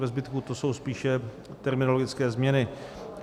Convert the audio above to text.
Ve zbytku to jsou spíše terminologické změny.